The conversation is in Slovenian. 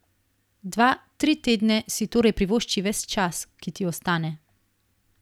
Dva, tri tedne si torej privošči ves čas, ki ti ostane!